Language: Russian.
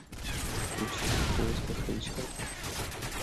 включи в поисках ричарда